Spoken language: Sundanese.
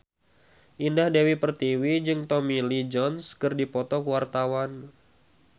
Indah Dewi Pertiwi jeung Tommy Lee Jones keur dipoto ku wartawan